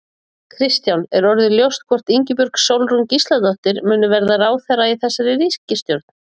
Kristján: Er orðið ljóst hvort að Ingibjörg Sólrún Gísladóttir, muni verða ráðherra í þessari ríkisstjórn?